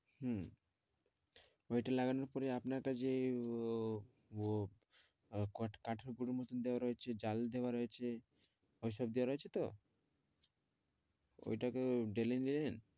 হুম। ঐটা লাগানোর পরে আপনারটা যে উহ আহ কঠ~ কাঠের পর~ এর মত দেওয়া রয়েছে জালি দেওয়া রয়েছে ঐসব দেওয়া রয়েছে তো? ঐটাকেও